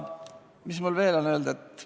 Mis mul veel on öelda?